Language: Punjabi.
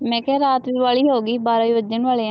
ਮੈਂ ਕਿਹਾ ਰਾਤ ਵੀ ਬਾਹਲੀ ਹੋਗੀ ਬਾਰਾਂ ਵੀ ਵੱਜਣ ਵਾਲੇ ਆ।